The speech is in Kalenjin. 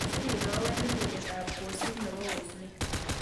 Sir ile awendi tugetap kwosiek ne po oosneet